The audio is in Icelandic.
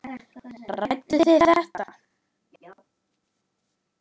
Ræddu þið þetta?